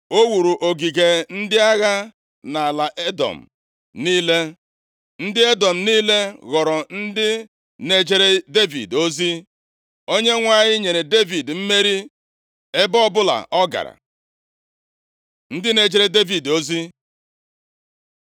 O wuru ogige ndị agha nʼala Edọm niile, ndị Edọm niile ghọrọ ndị na-ejere Devid ozi. Onyenwe anyị nyere Devid mmeri ebe ọbụla ọ gara. Ndị na-ejere Devid ozi